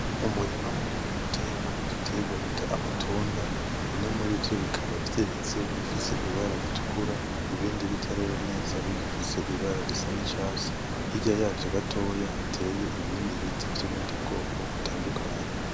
Umurima munini uteyemwo igitegwa bita amatunda, bimwe murivyo bikaba vyeze bifise ibara ritukura ibindi bitarera neza bigifise ibara risa n'icatsi hirya yavyo gatoya hateye ibindi biti vy'ubundi bwoko butandukanye.